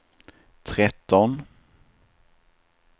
tretton